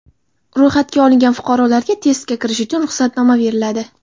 Ro‘yxatga olingan fuqarolarga testga kirish uchun ruxsatnoma beriladi.